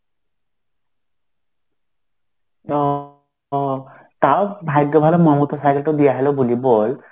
ও তাও ভাগ্য ভালো মমতার cycle টাও দিয়ালো বলি বল.